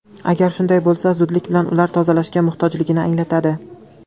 Agar shunday bo‘lsa, zudlik bilan ular tozalashga muhtojligini anglatadi.